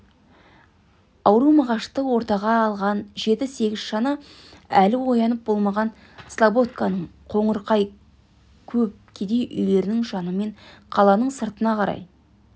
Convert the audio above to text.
ауру мағашты ортаға алған жеті-сегіз шана әлі оянып болмаған слободканың қоңырқай көп кедей үйлерінің жанымен қаланың сыртына қарай